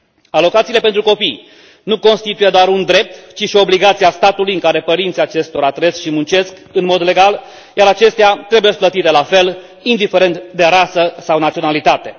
Alocațiile pentru copii nu constituie doar un drept, ci și o obligație a statului în care părinții acestora trăiesc și muncesc în mod legal, iar acestea trebuie plătite la fel, indiferent de rasă sau naționalitate.